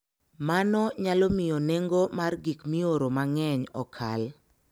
Mano nyalo miyo nengo mar gik mioro mang'eny okal.